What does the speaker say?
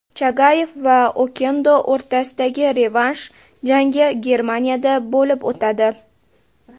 Chagayev va Okendo o‘rtasidagi revansh jangi Germaniyada bo‘lib o‘tadi.